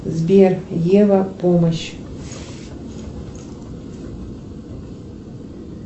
сбер ева помощь